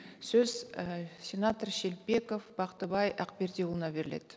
сөз ы сенатор шелпеков бақтыбай ақбердіұлына беріледі